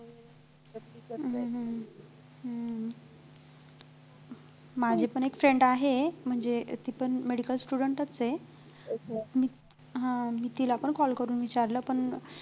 हम्म हम्म हम्म माझी पण एक friend आहे म्हणजे ती पण medical student च आहे हा तिलापण call करून विचारल पण